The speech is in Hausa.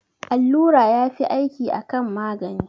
Allura yafi aiki akan magani